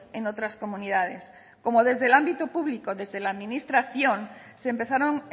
en otras comunidades como desde el ámbito público desde la administración se empezaron